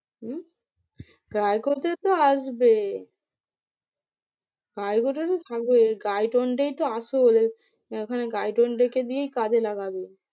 হম তো আসবে তো আসল এখানে রেখে দিয়েই কাজে লাগবে।